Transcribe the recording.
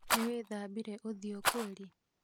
Nĩ wĩthambire ũthiũ kweli?